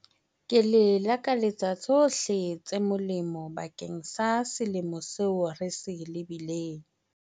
Ke le lakaletsa tshohle tse molemo bakeng sa selemo seo re se lebileng.